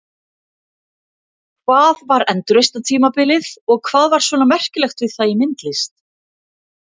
Hvað var endurreisnartímabilið og hvað var svona merkilegt við það í myndlist?